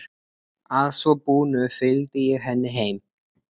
Að svo búnu fylgdi ég henni heim.